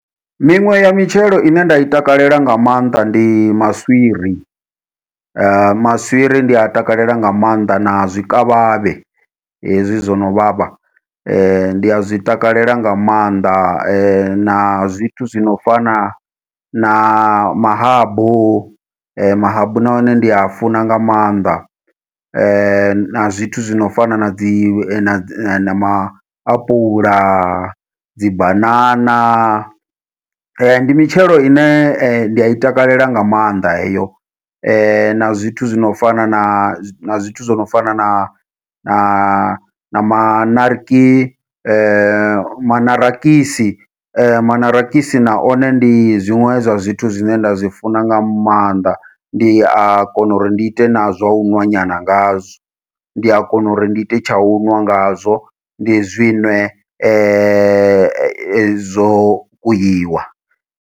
Miṅwe ya mitshelo ine nda i takalela nga maanḓa ndi maswiri, maswiri ndi a takalela nga maanḓa na zwikavhavhe hezwi zwono vhavha ndi a zwi takalela nga maanḓa, na zwithu zwi no fana na mahabu mahabu na one ndi a funa nga maanḓa na zwithu zwi no fana nadzi na maapula, dzibanana. Ndi mitshelo ine nda i takalela nga maanḓa heyo, na zwithu zwo no fana na zwithu zwo no fana na na na maṋarakisi maṋarakisi na one ndi zwiṅwe zwa zwithu zwine nda zwi funa nga maanḓa ndi a kona uri ndi ite na zwa u ṋwa nyana ngazwo ndi a kona uri ndi ite tsha u ṅwa ngazwo ndi zwiṅwe zwo kweiwa.